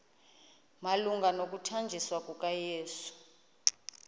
malunga nokuthanjiswa kukayesu